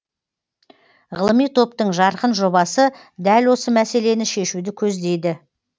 ғылыми топтың жарқын жобасы дәл осы мәселені шешуді көздейді